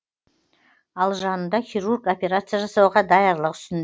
ал жанында хирург операция жасауға даярлық үстін